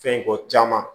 Fɛn ko caman